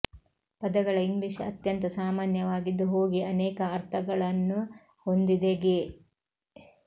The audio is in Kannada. ಪದಗಳ ಇಂಗ್ಲೀಷ್ ಅತ್ಯಂತ ಸಾಮಾನ್ಯವಾಗಿದ್ದು ಹೋಗಿ ಅನೇಕ ಅರ್ಥಗಳನ್ನು ಹೊಂದಿದೆ ಗೆ